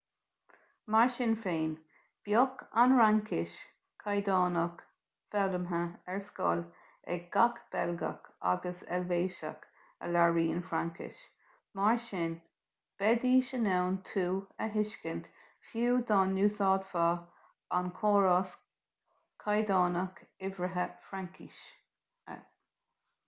mar sin féin bheadh ​​an fhraincis chaighdeánach foghlamtha ar scoil ag gach beilgeach agus eilvéiseach a labhraíonn fraincis mar sin bheidís in ann tú a thuiscint fiú dá n-úsáidfeá an córas caighdeánach uimhrithe fraincise